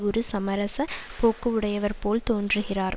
ஒரு சமரச போக்கு உடையவர் போல் தோன்றுகிறார்